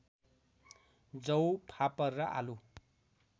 जौँ फापर र आलु